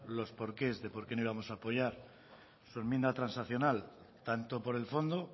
los porqués de porque no íbamos a apoyar su enmienda transaccional tanto por el fondo